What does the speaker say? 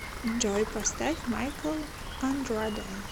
джой поставь майкл андраде